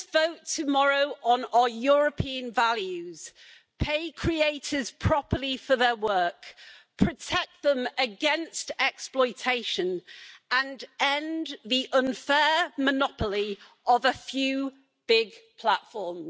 We must vote tomorrow on our European values, pay creators properly for their work, protect them against exploitation and end the unfair monopoly of a few big platforms.